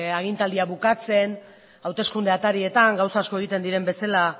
agintaldia bukatzen hauteskunde atarietan gauza asko egiten diren bezala